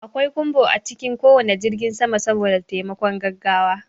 Akwai kumbo a cikin ko wane jirgin sama saboda taimakon gaggawa.